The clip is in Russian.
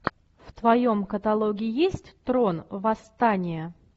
в твоем каталоге есть трон восстание